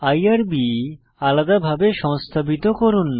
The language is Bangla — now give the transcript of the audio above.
আইআরবি আলাদাভাবে সংস্থাপিত করুন